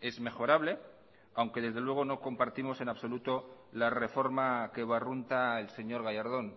es mejorable aunque desde luego no compartimos en absoluto la reforma que barrunta el señor gallardón